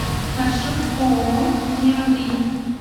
маршрут ооо неопринт